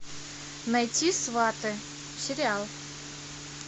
найти сваты сериал